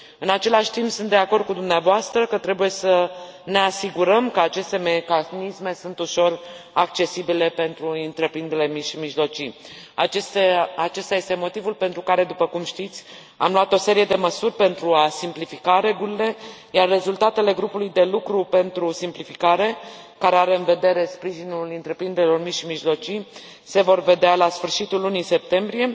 În același timp, sunt de acord cu dumneavoastră că trebuie să ne asigurăm că aceste mecanisme sunt ușor accesibile pentru întreprinderile mici și mijlocii. Acesta este motivul pentru care, după cum știți, am luat o serie de măsuri pentru a simplifica regulile, iar rezultatele grupului de lucru pentru simplificare, care are în vedere sprijinul întreprinderilor mici și mijlocii, se vor vedea la sfârșitul lunii septembrie.